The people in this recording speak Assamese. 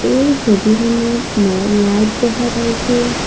এই ছবিখনত মই লাইট দেখা পাইছোঁ।